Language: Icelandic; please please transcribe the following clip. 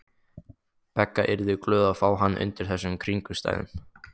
Begga yrðu glöð að fá hann undir þessum kringumstæðum.